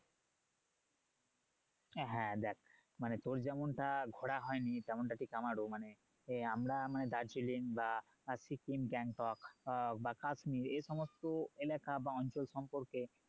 হ্যাঁ দেখ তোর যেমনটা ঘোরা হয় নি তেমনটা ঠিক আমারও মানে আমরা দার্জিলিং বা সিকিম গ্যাংটক বা কাশ্মীর এই সমস্ত এলাকা বা অঞ্চল সম্পর্কে